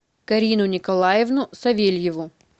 карину николаевну савельеву